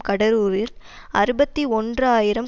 கடலூரில் அறுபத்தி ஒன்று ஆயிரம்